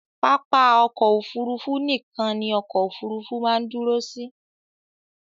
Pápá ọkọ̀ Òfurufú nìkan ni ọkọ òfurufú máa ń dúró sí.